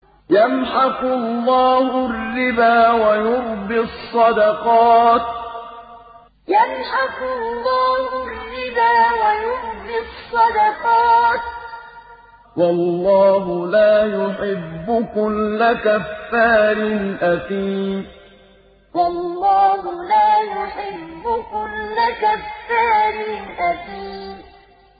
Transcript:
يَمْحَقُ اللَّهُ الرِّبَا وَيُرْبِي الصَّدَقَاتِ ۗ وَاللَّهُ لَا يُحِبُّ كُلَّ كَفَّارٍ أَثِيمٍ يَمْحَقُ اللَّهُ الرِّبَا وَيُرْبِي الصَّدَقَاتِ ۗ وَاللَّهُ لَا يُحِبُّ كُلَّ كَفَّارٍ أَثِيمٍ